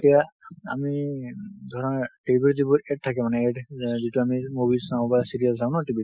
এতিয়া আমি উম ধৰা TV ত এইবোৰ ad থাকে মানে। AD যেনে যিটো আমি movie চাও বা serial চাও না TV ত ।